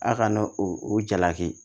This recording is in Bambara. A kana o o jalaki